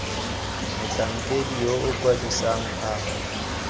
motlhankedi yo o kwadisang a